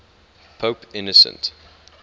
pope innocent